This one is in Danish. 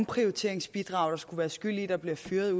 det til et risikobaseret